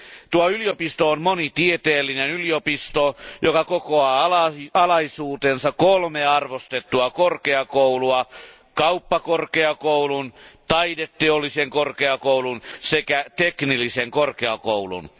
Tuo yliopisto on monitieteellinen yliopisto, joka kokoaa alaisuuteensa kolme arvostettua korkeakoulua kauppakorkeakoulun, taideteollisen korkeakoulun sekä teknillisen korkeakoulun.